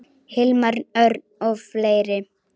Hilmar Örn og fleiri.